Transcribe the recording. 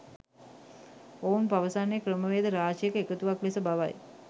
ඔවුන් පවසන්නේ ක්‍රමවේද රාශියක එකතුවක් ලෙස බවයි.